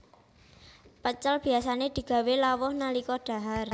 Pecel biasané digawé lawuh nalika dhahar